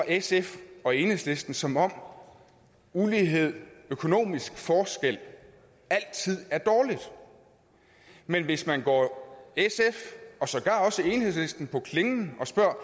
sf og enhedslisten som om ulighed økonomisk forskel altid er dårligt men hvis man går sf og sågar også enhedslisten på klingen og spørger